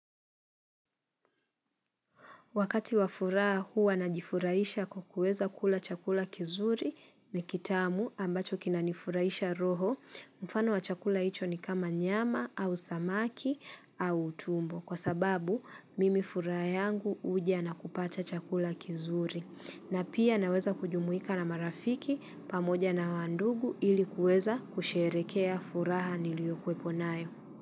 Wakati wa furaha huwa najifurahisha kuweza kula chakula kizuri na kitamu ambacho kinanifurahisha roho, mfano wa chakula hicho ni kama nyama au samaki au tumbo kwa sababu mimi furaha yangu huja na kupata chakula kizuri. Na pia naweza kujumuika na marafiki pamoja na wa ndugu ili kuweza kusherekea furaha niliyokuepo nayo.